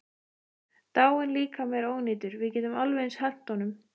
Dáinn líkami er ónýtur, við getum alveg eins hent honum.